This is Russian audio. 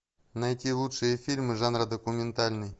найти лучшие фильмы жанра документальный